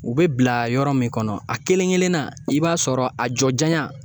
U be bila yɔrɔ min kɔnɔ a kelen-kelen na i b'a sɔrɔ a jɔ janya